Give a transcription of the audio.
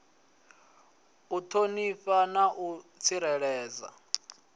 u ṱhonifha na u tsireledza